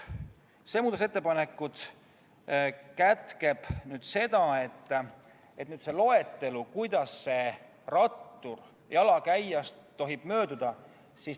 See muudatusettepanek sätestab, kuidas rattur jalakäijast tohib mööduda.